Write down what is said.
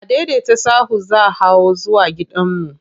Adaidaita sahu za hawo zuwa gidanmu.